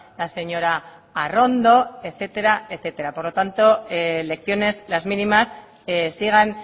la señora arrondo etcétera etcétera por lo tanto lecciones las mínimas sigan